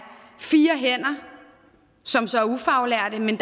fire hænder som så er ufaglærte men